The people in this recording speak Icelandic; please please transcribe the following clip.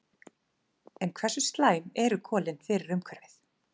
En hversu slæm eru kolin fyrir umhverfið?